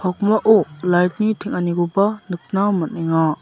pakmao light-ni teng·anikoba nikna man·enga.